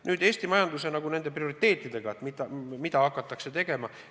Nüüd, Eesti majanduse prioriteedid, et mida hakatakse tegema.